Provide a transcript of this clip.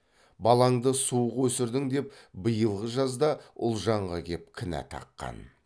балаңды суық өсірдің деп биылғы жазда ұлжанға кеп кінә таққан